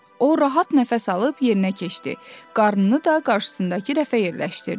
O rahat nəfəs alıb yerinə keçdi, qarnını da qarşısındakı rəfə yerləşdirdi.